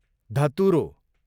धतुरो